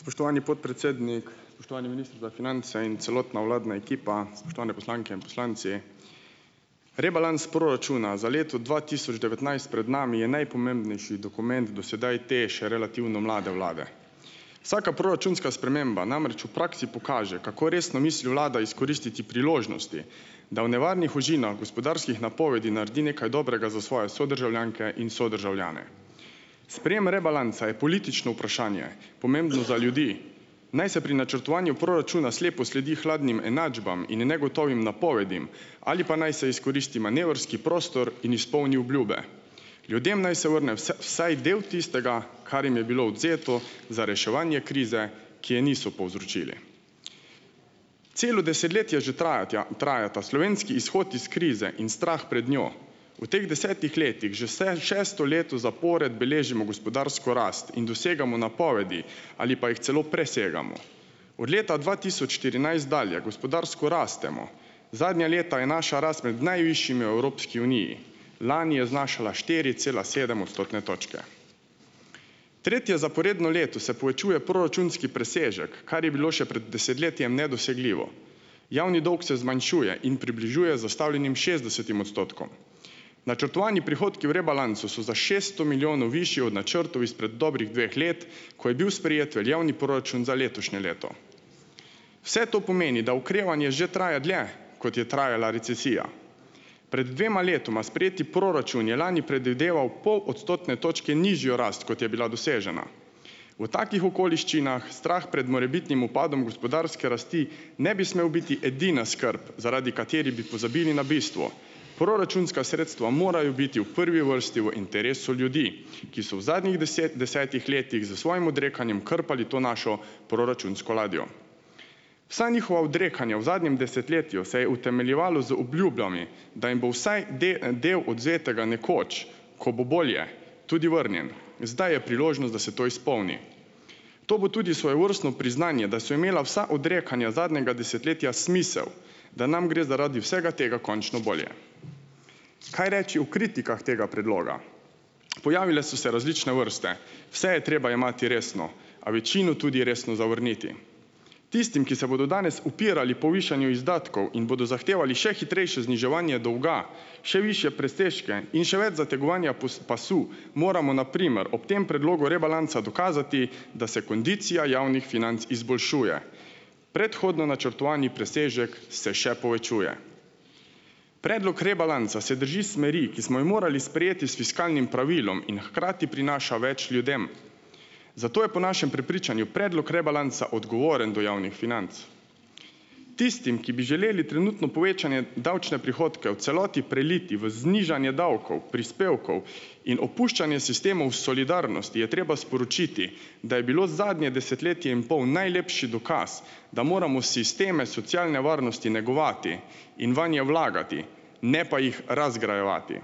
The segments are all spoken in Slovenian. Spoštovani podpredsednik, spoštovani minister za finance in celotna vladna ekipa, spoštovane poslanke in poslanci. Rebalans proračuna za leto dva tisoč devetnajst pred nami je najpomembnejši dokument do sedaj te, še relativno mlade vlade. Vsaka proračunska sprememba namreč v praksi pokaže, kako resno misli vlada izkoristiti priložnosti, da v nevarnih ožinah gospodarskih napovedi naredi nekaj dobrega za svoje sodržavljanke in sodržavljane. Sprejem rebalansa je politično vprašanje, pomembno za ljudi, naj se pri načrtovanju proračuna slepo sledi hladnim enačbam in negotovim napovedim ali pa naj se izkoristi manevrski prostor in izpolni obljube. Ljudem naj se vrne vsaj del tistega, kar jim je bilo odvzeto za reševanje krize, ki jo niso povzročili. Celo desetletje že trajatja traja ta slovenski izhod iz krize in strah pred njo. V teh desetih letih že šesto leto zapored beležimo gospodarsko rast in dosegamo napovedi ali pa jih celo presegamo. Od leta dva tisoč štirinajst dalje gospodarsko rastemo. Zadnja leta je naša rast med najvišjimi v Evropski uniji. Lani je znašala štiri cela sedem odstotne točke. Tretje zaporedno leto se povečuje proračunski presežek, kar je bilo še prej desetletjem nedosegljivo. Javni dolg se zmanjšuje in približuje zastavljenim šestdesetim odstotkom. Načrtovani prihodki v rebalansu so za šeststo milijonov višji od načrtov izpred dobrih dveh let, ko je bil sprejet veljavni proračun za letošnje leto. Vse to pomeni, da okrevanje že traja dlje, kot je trajala recesija. Pred dvema letoma sprejeti proračun je lani predvideval pol odstotne točke nižjo rast, kot je bila dosežena. V takih okoliščinah strah pred morebitnim upadom gospodarske rasti ne bi smel biti edina skrb, zaradi katerih bi pozabili na bistvo. Proračunska sredstva morajo biti v prvi vrsti v interesu ljudi, ki so v zadnjih desetih letih s svojim odrekanjem krpali to našo proračunsko ladjo. Vsa njihova odrekanja v zadnjem desetletju se je utemeljevalo z obljubami, da jim bo vsaj del odvzetega nekoč, ko bo bolje, tudi vrnjen. Zdaj je priložnost, da se to izpolni. To bo tudi svojevrstno priznanje, da so imela vsa odrekanja zadnjega desetletja smisel, da nam gre zaradi vsega tega končno bolje. Kaj reči o kritikah tega predloga? Pojavile so se različne vrste, vse je treba jemati resno a večino tudi resno zavrniti. Tistim, ki se bodo danes upirali povišanju izdatkov in bodo zahtevali še hitrejše zniževanje dolga, še višje presežke in še več zategovanja pasu, moramo na primer ob tem predlogu rebalansa dokazati, da se kondicija javnih financ izboljšuje. Predhodno načrtovani presežek se še povečuje. Predlog rebalansa se drži smeri, ki smo jo morali sprejeti s fiskalnim pravilom, in hkrati prinaša več ljudem, zato je po našem prepričanju predlog rebalansa odgovoren do javnih financ. Tistim, ki bi želeli trenutno povečanje davčne prihodke v celoti preliti v znižanje davkov, prispevkov in opuščanje sistemov solidarnosti je treba sporočiti, da je bilo zadnje desetletje in pol najlepši dokaz, da moramo sisteme socialne varnosti negovati in vanje vlagati, ne pa jih razgrajevati.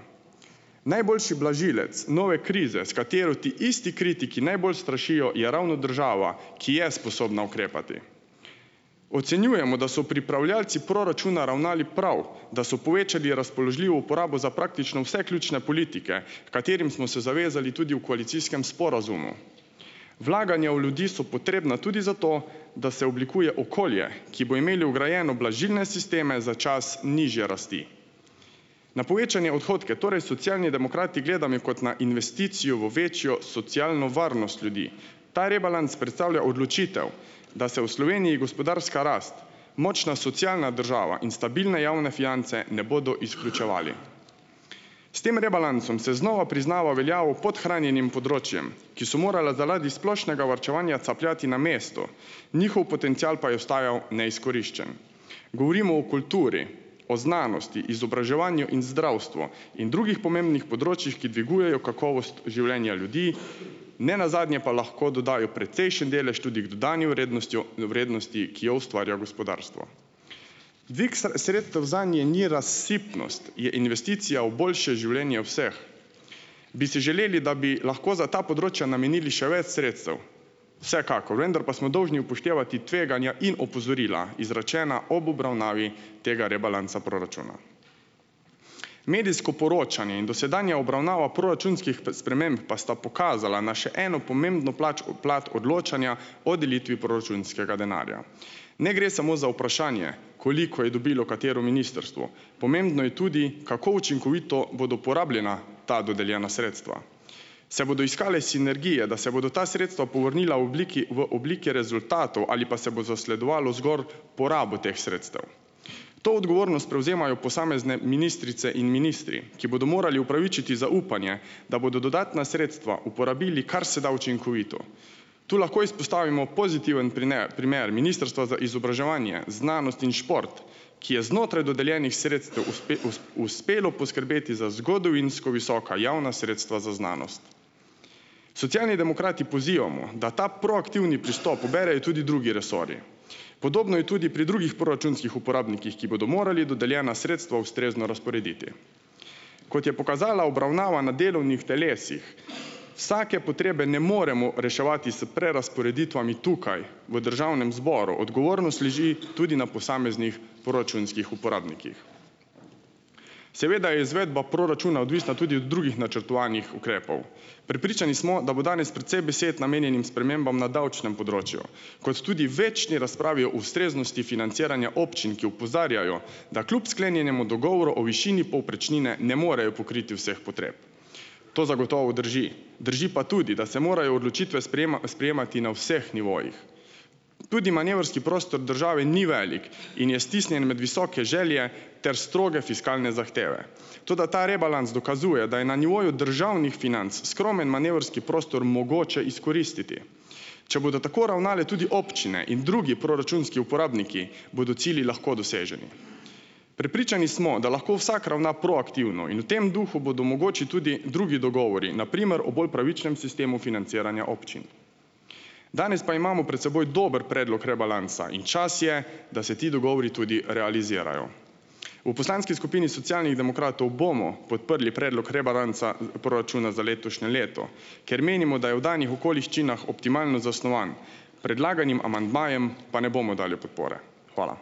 Najboljši blažilec nove krize, s katero ti isti kritiki najbolj strašijo, je ravno država, ki je sposobna ukrepati. Ocenjujemo, da so pripravljavci proračuna ravnali prav, da so povečali razpoložljivo uporabo za praktično vse ključne politike, h katerim smo se zavezali tudi v koalicijskem sporazumu. Vlaganja v ljudi so potrebna tudi, zato, da se oblikuje okolje, ki bo imelo vgrajeno blažilne sisteme za čas nižje rasti. Na povečane odhodke torej Socialni demokrati gledamo kot na investicijo v večjo socialno varnost ljudi. Ta rebalans predstavlja odločitev, da se v Sloveniji gospodarska rast, močna socialna država in stabilne javne finance ne bodo izključevali. S tem rebalansom se znova priznava veljavo podhranjenim področjem, ki so morala zaradi splošnega varčevanja capljati na mestu, njihov potencial pa je ostajal neizkoriščen. Govorimo o kulturi, o znanosti, izobraževanju in zdravstvu in drugih pomembnih področjih, ki dvigujejo kakovost življenja ljudi, nenazadnje pa lahko dodajo precejšen delež tudi k dodani vrednostjo vrednosti, ki jo ustvarja gospodarstvo. Dvig sredstev zanje ni razsipnost, je investicija v boljše življenje vseh. Bi si želeli, da bi lahko za ta področja namenili še več sredstev? Vsekakor, vendar pa smo dolžni upoštevati tveganja in opozorila izrečena ob obravnavi tega rebalansa proračuna. Medijsko poročanje in dosedanja obravnava proračunskih sprememb pa sta pokazala na še eno pomembno plač plat odločanja o delitvi proračunskega denarja. Ne gre samo za vprašanje, koliko je dobilo katero ministrstvo, pomembno je tudi, kako učinkovito bodo porabljena ta dodeljena sredstva. Se bodo iskale sinergije, da se bodo ta sredstva povrnila v obliki, v oblike rezultatov ali pa se bo zasledovalo zgolj porabo teh sredstev? To odgovornost prevzemajo posamezne ministrice in ministri, ki bodo morali upravičiti zaupanje, da bodo dodatna sredstva uporabili karseda učinkovito. Tu lahko izpostavimo pozitiven primer, primer ministrstva za izobraževanje, znanost in šport, ki je znotraj dodeljenih sredstev uspelo poskrbeti za zgodovinsko visoka javna sredstva za znanost. Socialni demokrati pozivamo, da ta proaktivni pristop poberejo tudi drugi resorji. Podobno je tudi pri drugih proračunskih uporabnikih, ki bodo morali dodeljena sredstva ustrezno razporediti. Kot je pokazala obravnava na delovnih telesih, vsake potrebe ne moremo reševati s prerazporeditvami tukaj v državnem zboru. Odgovornost leži tudi na posameznih proračunskih uporabnikih. Seveda je izvedba proračuna odvisna tudi od drugih načrtovanih ukrepov. Prepričani smo, da bo danes precej besed namenjenih spremembam na davčnem področju kot tudi večni razpravi o ustreznosti financiranja občin, ki opozarjajo, da kljub sklenjenemu dogovoru o višini povprečnine ne morejo pokriti vseh potreb. To zagotovo drži. Drži pa tudi, da se morajo odločitve sprejemati na vseh nivojih. Tudi manevrski prostor države ni velik in je stisnjen med visoke želje ter stroge fiskalne zahteve, toda ta rebalans dokazuje, da je na nivoju državnih financ skromen manevrski prostor mogoče izkoristiti. Če bodo tako ravnale tudi občine in drugi proračunski uporabniki, bodo cilji lahko doseženi. Prepričani smo, da lahko vsak ravna proaktivno, in v tem duhu bodo mogoči tudi drugi dogovori, na primer o bolj pravičnem sistemu financiranja občin. Danes pa imamo pred seboj dober predlog rebalansa in čas je, da se ti dogovori tudi realizirajo. V poslanski skupini Socialnih demokratov bomo podprli predlog rebalansa proračuna za letošnje leto, ker menimo, da je v danih okoliščinah optimalno zasnovan. Predlaganim amandmajem pa ne bomo dali podpore. Hvala.